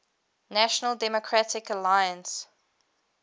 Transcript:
national democratic alliance